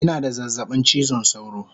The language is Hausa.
Ina da zazzabin chizon sauro